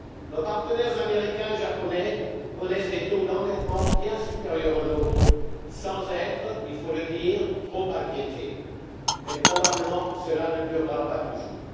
Nos partenaires américains et japonais connaissent des taux d'endettement bien supérieurs aux nôtres, sans être il faut le dire trop inquiétés, mais probablement cela ne durera pas toujours.